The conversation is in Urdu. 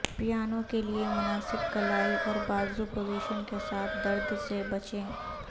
پیانو کے لئے مناسب کلائی اور بازو پوزیشن کے ساتھ درد سے بچیں